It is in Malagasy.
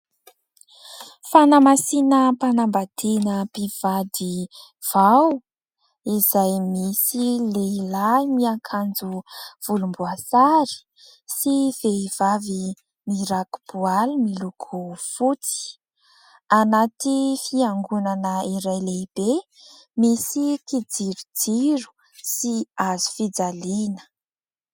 Fanamasinam-panambadiana mpivady vao ; izay misy lehilahy miakanjo volomboasary sy vehivavy mirako-boaly miloko fotsy. Anaty Fiangonana iray lehibe misy kijirojiro sy hazofijaliana.